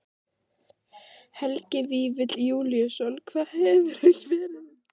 Helgi Vífill Júlíusson: Hvað hefurðu verið lengi í sviðsljósinu?